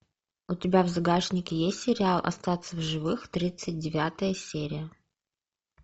у тебя в загашнике есть сериал остаться в живых тридцать девятая серия